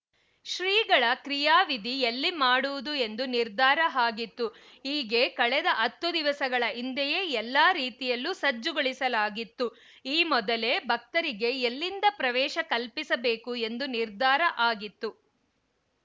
ಶ್ರೀಗಳ ಕ್ರಿಯಾವಿಧಿ ಎಲ್ಲಿ ಮಾಡುವುದು ಎಂದು ನಿರ್ಧಾರ ಆಗಿತ್ತು ಹೀಗೆ ಕಳೆದ ಹತ್ತು ದಿವಸಗಳ ಹಿಂದೆಯೇ ಎಲ್ಲಾ ರೀತಿಯಲ್ಲೂ ಸಜ್ಜುಗೊಳಿಸಲಾಗಿತ್ತು ಈ ಮೊದಲೇ ಭಕ್ತರಿಗೆ ಎಲ್ಲಿಂದ ಪ್ರವೇಶ ಕಲ್ಪಿಸಬೇಕು ಎಂದು ನಿರ್ಧಾರ ಆಗಿತ್ತು